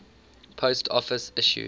post office issued